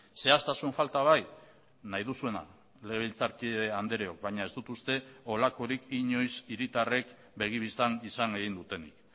zehaztasun falta bai nahi duzuena legebiltzarkide andreok baina ez dut uste holakorik inoiz hiritarrek begibistan izan egin dutenik